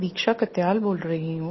दीक्षा कात्याल बोल रही हूँ